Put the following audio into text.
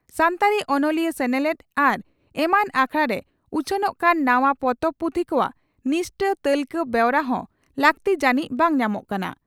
ᱥᱟᱱᱛᱟᱲᱤ ᱚᱱᱚᱞᱤᱭᱟᱹ ᱥᱮᱱᱮᱞᱮᱫ ᱟᱨ ᱮᱢᱟᱱ ᱟᱠᱷᱲᱟᱨᱮ ᱩᱪᱷᱟᱹᱱᱚᱜ ᱠᱟᱱ ᱱᱟᱣᱟ ᱯᱚᱛᱚᱵ/ᱯᱩᱛᱷᱤ ᱠᱚᱣᱟᱜ ᱱᱤᱥᱴᱟᱹ ᱛᱟᱹᱞᱠᱟᱹ ᱵᱮᱣᱨᱟ ᱦᱚᱸ ᱞᱟᱹᱠᱛᱤ ᱡᱟᱹᱱᱤᱡ ᱵᱟᱝ ᱧᱟᱢᱚᱜ ᱠᱟᱱᱟ ᱾